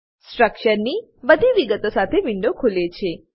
સ્ટ્રક્ચરની બધી વિગતો સાથે વિન્ડો ખુલે છે